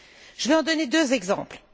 Je vais en donner deux exemples.